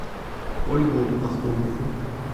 ольгу ахунову